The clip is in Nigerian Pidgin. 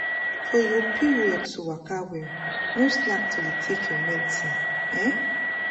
for your period to waka well no slack to dey take your medicine. um